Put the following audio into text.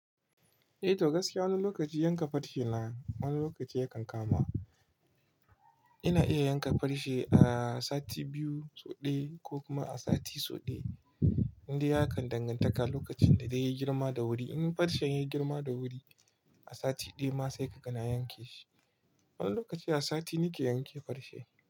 Eh to gaskiya wani lokaci yanka farce na, wani lokaci yakan kama. Ina iya yanka farce a sati biyu so ɗaya ko kuma a sati so ɗaya, inda ya kan dangantaka lokacin da zai yi girma da wuri. In farcen ya yi girma da wuri a sati ɗaya ma sai kakan yanke shi. Wani lokaci a sati nake yanke farshi.